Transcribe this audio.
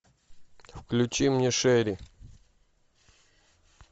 включи мне шери